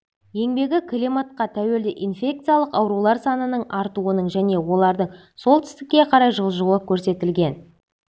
еңбегі климатқа тәуелді инфекциялық аурулар санының артуының және олардың солтүстікке қарай жылжуы көрсетілген